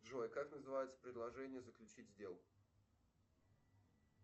джой как называется предложение заключить сделку